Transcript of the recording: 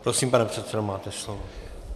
Prosím, pane předsedo, máte slovo.